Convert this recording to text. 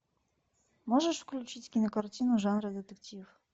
можешь включить кинокартину жанра детектив